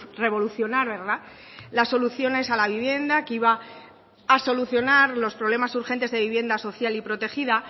revolucionar las soluciones a la vivienda que iba a solucionar los problemas urgentes de vivienda social y protegida